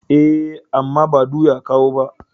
E, amma ba du ya kawo ba.